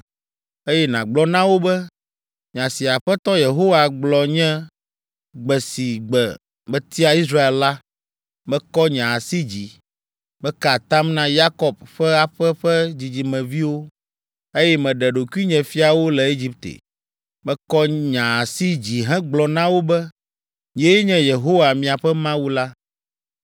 eye nàgblɔ na wo be, ‘Nya si Aƒetɔ Yehowa gblɔe nye gbe si gbe metia Israel la, mekɔ nye asi dzi, meka atam na Yakob ƒe aƒe ƒe dzidzimeviwo, eye meɖe ɖokuinye fia wo le Egipte. Mekɔ nye asi dzi hegblɔ na wo be, “Nyee nye Yehowa, miaƒe Mawu la.”